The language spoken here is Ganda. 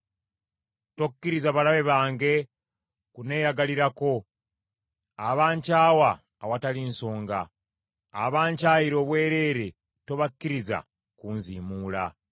Tokkiriza balabe bange kunneeyagalirako, abankyawa awatali nsonga; abankyayira obwereere tobakkiriza kunziimuula.